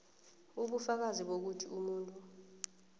ubufakazi bokuthi umuntu